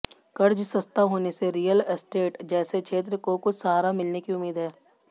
कर्ज सस्ता होने से रियल एस्टेट जैसे क्षेत्र को कुछ सहारा मिलने की उम्मीद है